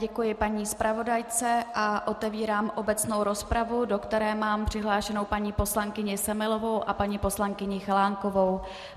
Děkuji paní zpravodajce a otevírám obecnou rozpravu, do které mám přihlášenou paní poslankyni Semelovou a paní poslankyni Chalánkovou.